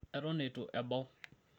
eton eitu ebau